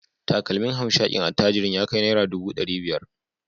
Takalmin hamshakin attajirin ya kai naira dubu dari biyar